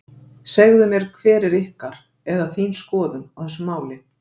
Segðu mér hver er ykkar, eða þín skoðun á þessu máli?